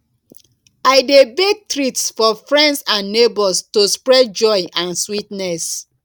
i dey bake treats for friends and neighbors to spread joy and sweetness